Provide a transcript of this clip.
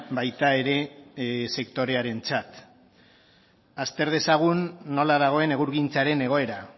baita ere sektorearentzat azter dezagun nola dagoen egurgintzaren egoera